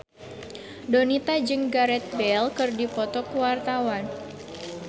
Donita jeung Gareth Bale keur dipoto ku wartawan